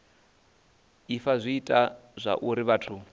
ifa zwi ita zwauri vhathu